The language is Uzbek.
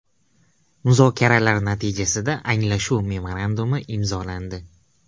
Muzokaralar natijasida anglashuv memorandumi imzolandi.